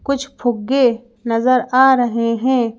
कुछ फुग्गे नजर आ रहें हैं।